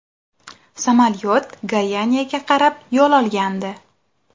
Samolyot Goyaniyaga qarab yo‘l olgandi.